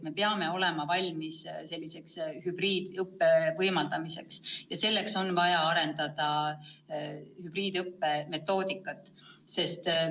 Me peame olema valmis hübriidõppe võimaldamiseks ja selleks on vaja arendada hübriidõppe metoodikat.